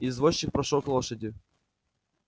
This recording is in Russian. извозчик прошёл к лошади